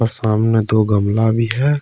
सामने दो गमला भी है।